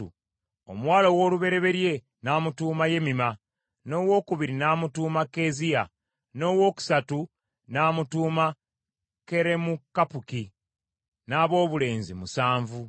Omuwala ow’olubereberye n’amutuuma Yemima, n’owokubiri n’amutuuma Keeziya, n’owookusatu n’amutuuma Keremukappuki, n’aboobulezi musanvu.